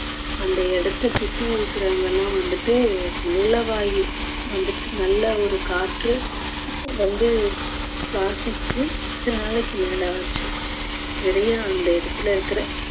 அந்த இடத்தை சுத்தி இருக்குறவங்க எல்லாம் வந்துட்டு நல்ல வாயு வந்துட்டு நல்ல ஒரு காற்று வந்து சுவாசிச்சு பத்து நாளைக்கு மேல ஆச்சு. நிறைய அந்த இடத்துல இருக்குற